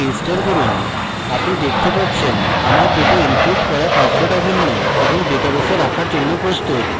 এটি register করুন আপনি দেখতে পাচ্ছেন আমার ২ the encrypted করা পাসওয়ার্ড অভিন্ন এবং ডেটাবেসে রাখার জন্য প্রস্তুত